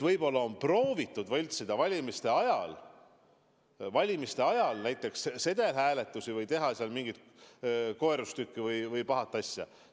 Võib-olla on proovitud valimiste ajal võltsida ka sedelhääletuste tulemusi või teha mingeid muid koerustükke või pahu asju.